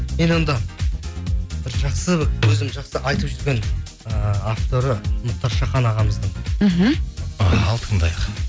мен онда бір жақсы өзім жақсы айтып жүрген ыыы авторы мұхтар шахан ағамыздың мхм ал тыңдайық